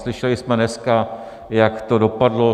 Slyšeli jsme dneska, jak to dopadlo.